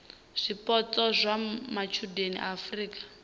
zwipotso zwa matshudeni a afurika